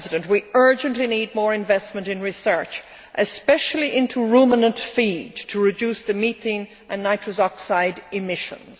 We urgently need more investment in research, especially into ruminant feed to reduce the methane and nitrous oxide emissions.